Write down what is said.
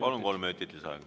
Palun, kolm minutit lisaaega.